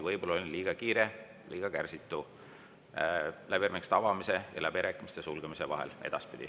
Võib-olla olin liiga kiire, liiga kärsitu läbirääkimiste avamise ja sulgemise vahel.